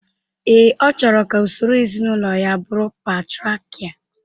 Ee, ọ chọrọ ka usoro ezinaụlọ ya bụrụ patriakial